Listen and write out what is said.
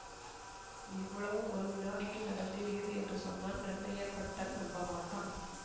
இவ்வளவும் ஒரு வினாடியில் நடந்தேறியது என்று சொன்னால் நன்னய பட்டன் நம்பமாட்டான்